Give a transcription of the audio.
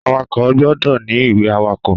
Àwàkó gbọ̀ dọ̀ ni ìwé àwàkó